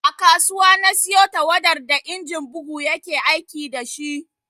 A kasuwa na siyo tawadar da injin bugu ya ke aiki da shi